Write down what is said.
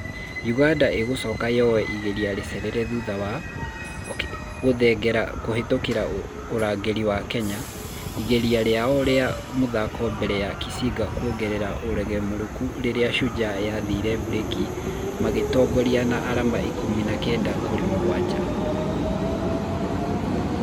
Uganda ĩgũcoka yowe igeria rĩcerere thutha wa....okeny gũtengera kũhĩtũka ũrangĩri wa kenya ......igeria rĩao rĩmwe rĩa mũthako mbere ya kisiga kuongerera ũgarũemrũku rĩrĩa shujaa yathire breki makĩtongoria na arama ikũmi na kenda kũrĩ mũgwaja.